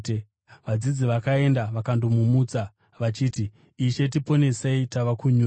Vadzidzi vakaenda vakandomumutsa vachiti, “Ishe, tiponesei! Tava kunyura!”